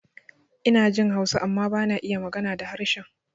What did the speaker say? Inajin Hausa amma bana iya magana da harshen